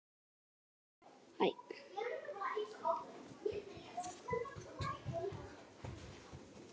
Alveg satt?